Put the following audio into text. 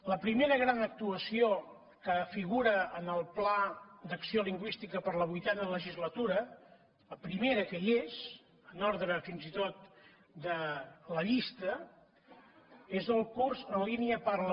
la primera gran actuació que figura en el pla d’acció lingüística per a la vuitena legislatura la primera que hi és en ordre fins i tot de la llista és el curs en línia parla